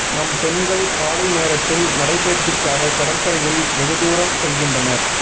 நம் பெண்கள் காலை நேரத்தில் நடை பயிற்சிக்காக கடற்கரையில் வெகுதூரம் செல்கின்றனர்